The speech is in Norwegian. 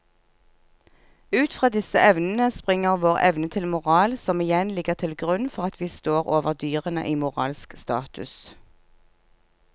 Ut fra disse evnene springer vår evne til moral som igjen ligger til grunn for at vi står over dyrene i moralsk status.